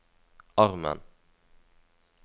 armen